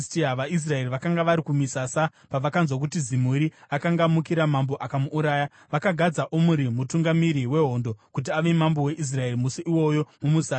VaIsraeri vakanga vari kumisasa pavakanzwa kuti Zimuri akanga amukira mambo akamuuraya, vakagadza Omuri mutungamiri wehondo, kuti ave mambo weIsraeri musi iwoyo mumusasa.